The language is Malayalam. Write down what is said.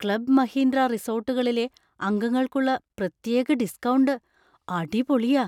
ക്ലബ് മഹീന്ദ്ര റിസോർട്ടുകളിലെ അംഗങ്ങൾക്കുള്ള പ്രത്യേക ഡിസ്കൗണ്ട് അടിപൊളിയാ.